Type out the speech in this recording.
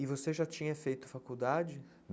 E você já tinha feito faculdade?